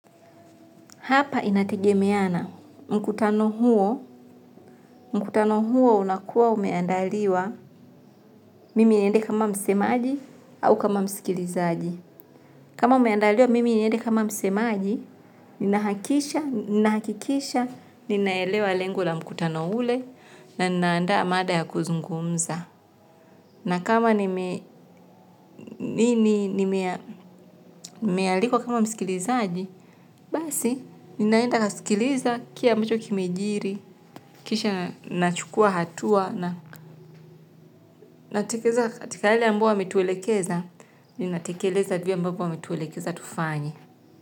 Hapa inategemeana. Mkutano huo unakuwa umeandaliwa mimi niende kama msemaji au kama msikilizaji. Kama umeandaliwa mimi niende kama msemaji, ninahakisha, ninahakikisha, ninaelewa lengo la mkutano ule na ninaandaa mada ya kuzungumza. Na kama nimealikwa kama msikilizaji, basi ninaenda nikasikiliza kile ambacho kimejiri, kisha nachukua hatua na katika yale ambayo ametuelekeza, ninatekeleza vyema kwa yale ambapo ametuelekeza tufanye.